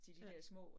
Ja